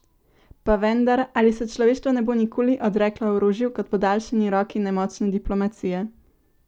Pa vendar, ali se človeštvo ne bo nikoli odreklo orožju kot podaljšani roki nemočne diplomacije?